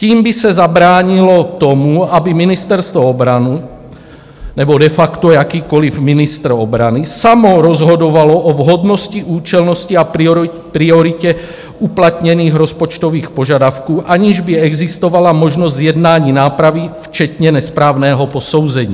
Tím by se zabránilo tomu, aby Ministerstvo obrany nebo de facto jakýkoliv ministr obrany samo rozhodovalo o vhodnosti, účelnosti a prioritě uplatněných rozpočtových požadavků, aniž by existovala možnost zjednání nápravy včetně nesprávného posouzení.